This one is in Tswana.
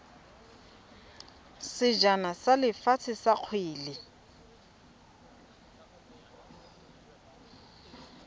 sejana sa lefatshe sa kgwele